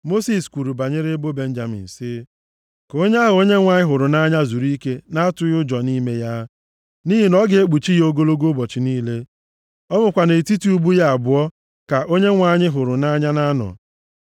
Mosis kwuru banyere ebo Benjamin sị, “Ka onye ahụ Onyenwe anyị hụrụ nʼanya zuru ike na-atụghị ụjọ nʼime ya. Nʼihi na ọ ga-ekpuchi ya ogologo ụbọchị niile. Ọ bụkwa nʼetiti ubu ya abụọ ka onye Onyenwe anyị hụrụ nʼanya na-anọ.”